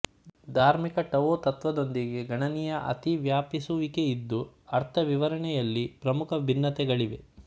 ಧಾರ್ಮಿಕ ಟಾವೊ ತತ್ತ್ವದೊಂದಿಗೆ ಗಣನೀಯ ಅತಿವ್ಯಾಪಿಸುವಿಕೆಯಿದ್ದು ಅರ್ಥವಿವರಣೆಯಲ್ಲಿ ಪ್ರಮುಖ ಭಿನ್ನತೆಗಳಿವೆ